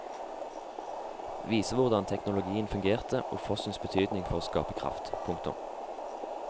Vise hvordan teknologien fungerte og fossens betydning for å skape kraft. punktum